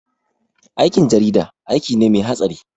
Aikin jarida aiki ne mai hatsari